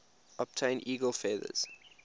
obtain eagle feathers